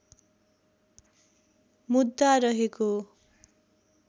मुद्दा रहेको